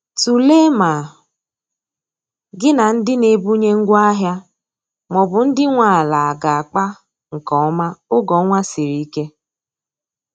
Tụlee ma gi na ndi n'ebunye ngwa ahia maọbụ ndi nwe ala aga akpa nke oma oge ọnwa sịrị ike